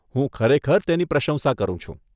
હું ખરેખર તેની પ્રશંસા કરું છું.